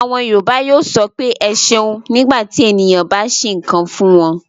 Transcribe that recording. Àwọn Yorùbá yóò sọ pé "ẹ ṣeun" nígbà tí ènìyàn bá ṣe nǹkan fún wọn.